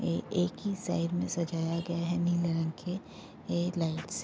ये एक ही साइड में सजाया गया है नीले रंग के ये लाइट्स ।